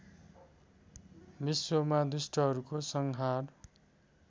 विश्वमा दुष्टहरूको संहार